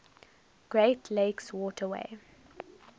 great lakes waterway